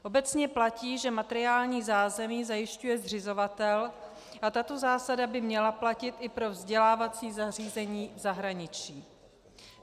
Obecně platí, že materiální zázemí zajišťuje zřizovatel a tato zásada by měla platit i pro vzdělávací zařízení v zahraničí.